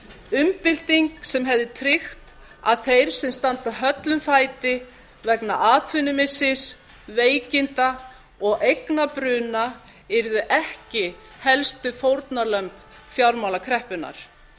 umbylting sem hefði tryggt að þeir sem standa höllum fæti vegna atvinnumissis veikinda og eignabruna yrðu ekki helstu fórnarlömb fjármálakreppunnar